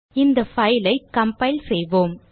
இந்த file ஐ compile செய்வோம்